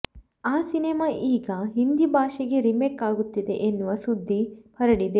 ಆ ಸಿನಿಮಾ ಈಗ ಹಿಂದಿ ಭಾಷೆಗೆ ರೀಮೇಕ್ ಆಗುತ್ತಿದೆ ಎನ್ನುವ ಸುದ್ದಿ ಹರಡಿದೆ